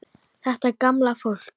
Þetta gamla fólk.